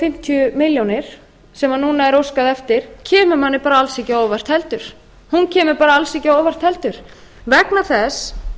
fimmtíu milljónir sem núna er óskað eftir kemur manni bara alls ekki á óvart heldur vegna þess